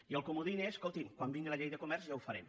i el comodí és escolti quan vingui la llei de comerç ja ho farem